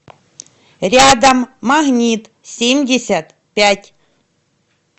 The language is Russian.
рядом магнитсемьдесятпять